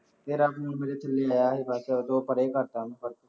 ਯਾਰ ਰਾਤੀ ਫੋਨ ਮੇਰੇ ਥੱਲੇ ਆਇਆ ਸੀ ਬਸ ਉਹ ਤੋਂ ਬਾਅਦ ਪਰੇ ਕਰਤਾ